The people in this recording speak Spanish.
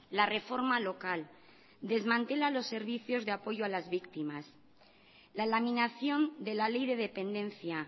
la reforma local desmantela los servicios de apoyo a las víctimas la laminación de la ley de dependencia